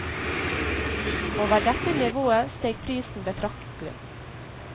Over dette nivået steg prisen betraktelig.